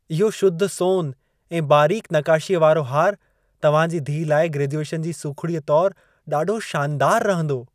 इहो शुद्ध सोन ऐं बारीक़ नक़ाशीअ वारो हार तव्हां जी धीअ लाइ ग्रेजुएशन जी सुखिड़ीअ तोर ॾाढो शानदार रहंदो।